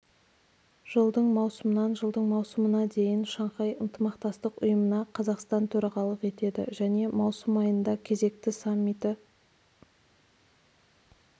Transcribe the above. жылдың маусымнан жылдың маусымына дейін шанхай ынтымақтастық ұйымына қазақстан төрағалық етеді және маусым айында кезекті саммиті